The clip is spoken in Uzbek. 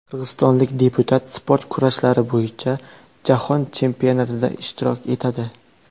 Qirg‘izistonlik deputat sport kurashlari bo‘yicha Jahon chempionatida ishtirok etadi.